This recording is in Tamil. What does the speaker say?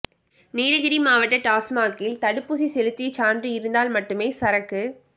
நீலகிரி மாவட்ட டாஸ்மாக்கில் தடுப்பூசி செலுத்திய சான்று இருந்தால் மட்டுமே சரக்கு